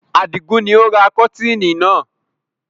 Adigun ni ó ra kọ́tiinì náà